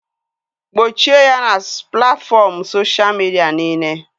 Gbochie ya na platfọm soshal midia niile!